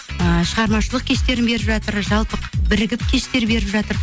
ы шығармашылық кештерін беріп жатыр жалпы бірігіп кештер беріп жатыр